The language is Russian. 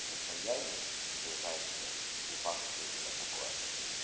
состояние ближайшее не факт что именно такое